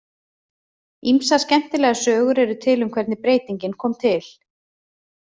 Ýmsar skemmtilegar sögur eru til um hvernig breytingin kom til.